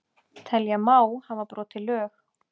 Telja Má hafa brotið lög